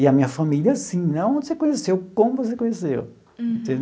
E a minha família assim, onde você conheceu, como você conheceu.